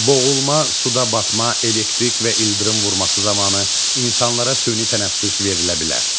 Boğulma, suda batma, elektrik və ildırım vurması zamanı insanlara süni tənəffüs verilə bilər.